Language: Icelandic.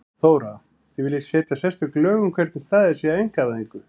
Þóra: Þið viljið setja sérstök lög um hvernig staðið sé að einkavæðingu?